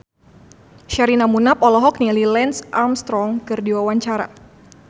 Sherina Munaf olohok ningali Lance Armstrong keur diwawancara